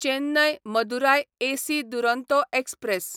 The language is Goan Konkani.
Chennai Madurai AC Duronto express